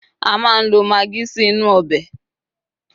a ma n lo magi sí inú obe